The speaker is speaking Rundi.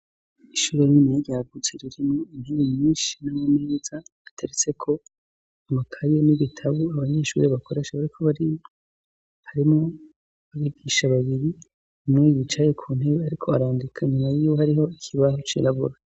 Ishure rininiya ryagutse ririmwo intebe nyinshi, nama meza ,ateretseko amakaye n'ibitabo abanyeshure bakoresha bariko bariga, harimwo abigisha babiri, umwe yicaye kuntebe ariko arandika inyuma yiwe hariho ikibaho cirabura.